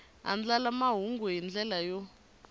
andlala mahungu hi ndlela yo